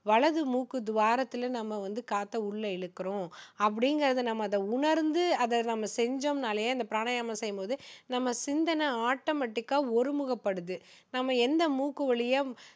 வலது மூக்கு துவாரத்துல நம்ம வந்து காற்ற உள்ள இழுக்கிறோம் அப்படிங்கிறத அதை நம்ம உணர்ந்து அதை நம்ம செஞ்சோம்னாலே அந்த பிராணயாமம் செய்யும்போது நம்ம சிந்தனை automatic ஆ ஒரு முகப்படுது நம்ம எந்த மூக்கு வழியா